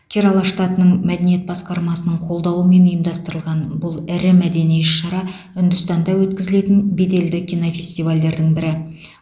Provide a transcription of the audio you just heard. керала штатының мәдениет басқармасының қолдауымен ұйымдастырылған бұл ірі мәдени іс шара үндістанда өткізілетін беделді кинофестивальдердің бірі